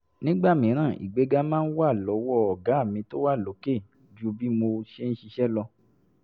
nígbà mìíràn ìgbéga máa ń wà lọ́wọ́ "ọ̀gá mi tó wà lókè" ju bí mo ṣe ń ṣiṣẹ́ lọ